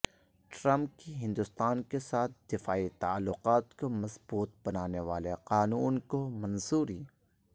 Trump کی ہندوستان کیساتھ دفاعی تعلقات کو مضبوط بنانے والے قانون کو منظوری